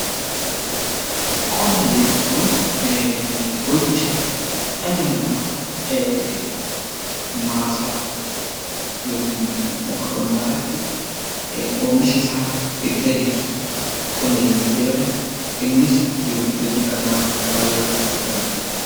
Qonna jechuun gocha dhalli namaa maasa irratti (lafa qonnaa irratti ) oomishasaa itti adeemsisu qonna yommuu jedhamu, innis jiruu fi jireenya dhala namaa keessatti baay'ee barbaachisaa kan ta'ee dha.